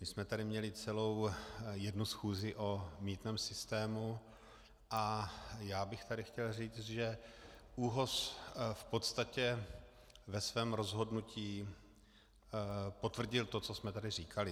My jsme tady měli celou jednu schůzi o mýtném systému a já bych tady chtěl říct, že ÚOHS v podstatě ve svém rozhodnutí potvrdil to, co jsme tady říkali.